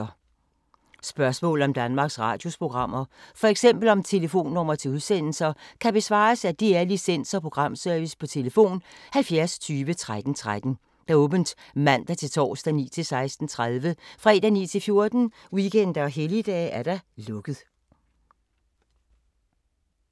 Spørgsmål om Danmarks Radios programmer, f.eks. om telefonnumre til udsendelser, kan besvares af DR Licens- og Programservice: tlf. 70 20 13 13, åbent mandag-torsdag 9.00-16.30, fredag 9.00-14.00, weekender og helligdage: lukket.